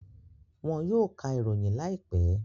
Wọn yóò ka ìròyìn láìpẹ́